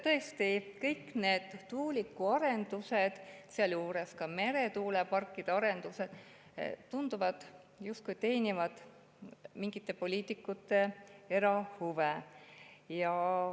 Tõesti tundub, et kõik need tuulikuarendused, sealjuures ka meretuuleparkide arendused, justkui teenivad mingite poliitikute erahuve.